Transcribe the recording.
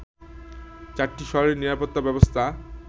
চারটি শহরেই নিরাপত্তা ব্যবস্থা